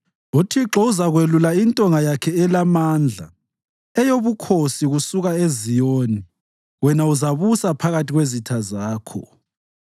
UThixo uzakwelula intonga yakhe elamandla eyobukhosi kusuka eZiyoni wena uzabusa phakathi kwezitha zakho